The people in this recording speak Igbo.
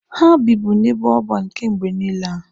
Ha bibu n'ebe ọban kemgbe niile a.